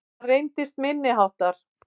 Hann reyndist minniháttar